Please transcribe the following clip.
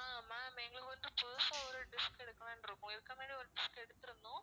ஆஹ் ma'am எங்களுக்கு வந்து புதுசா ஒரு dish எடுக்கலாம்னு இருக்கோம் ஏற்கனவே ஒரு dish எடுத்திருந்தோம்